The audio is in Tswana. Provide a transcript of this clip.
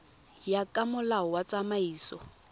ya ka molao wa tsamaiso